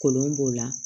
Kolon b'o la